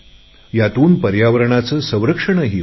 यातून पर्यावरणाचे संरक्षणही होईल